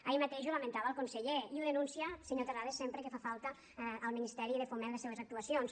ahir mateix ho lamentava el conseller i ho denuncia senyor terrades sempre que fa falta al ministeri de foment les seves actuacions